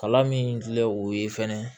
Kalan min filɛ o ye fɛnɛ